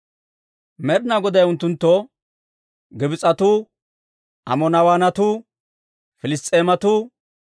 Med'inaa Goday unttunttoo, «Gibs'etuu, Amoorawaanatuu, Amoonaawatuwaa, Piliss's'eematuu,